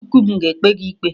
Chukwu m ga-ekpe gị ikpe!